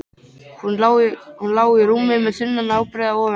Hún lá í rúmi með þunna ábreiðu ofan á sér.